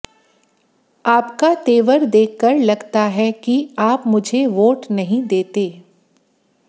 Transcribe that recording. आपका तेवर देखकर लगता है कि आप मुझे वोट नहीं देते